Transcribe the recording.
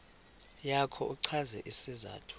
yakho uchaze isizathu